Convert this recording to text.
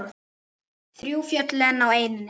Þrjú fjöll eru á eynni.